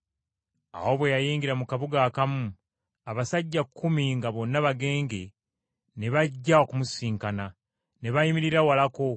Awo bwe yayingira mu kabuga akamu, abasajja kkumi nga bonna bagenge ne bajja okumusisinkana. Ne bayimirira walako